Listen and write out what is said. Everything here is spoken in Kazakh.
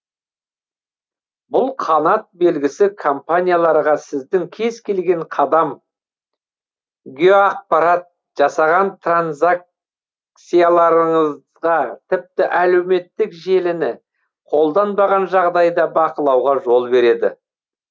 бұл қанат белгісі компанияларға сіздің кез келген қадам геоақпарат жасаған транзакцияларыңызға тіпті әлеуметтік желіні қолданбаған жағдайда бақылауға жол береді